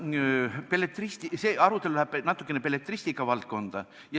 No vaata, see arutelu läheb natuke belletristika valdkonda.